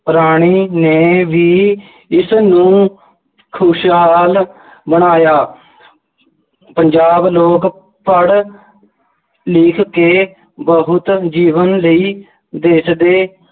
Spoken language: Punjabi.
ਰਾਣੀ ਨੇ ਵੀ ਇਸਨੂੰ ਖੁਸ਼ਹਾਲ ਬਣਾਇਆ ਪੰਜਾਬ ਲੋਕ ਪੜ੍ਹ ਲਿਖ ਕੇ ਬਹੁਤ ਜੀਵਨ ਲਈ ਦੇਸ਼ ਦੇ